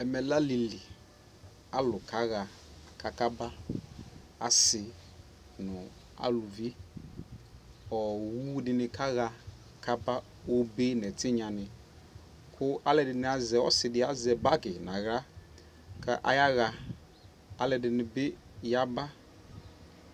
ɛmɛ lɛ alili kʋ alʋ kaha kʋ aka ba, asii nʋ alʋvi, ɔwʋ dini kaha ka aba, ɔbɛ nʋ ɛtinya ni kʋ alʋɛdini, ɔsii di azɛ bagi nʋ ala kʋ ayaha, ɔlʋɛdini bi yaba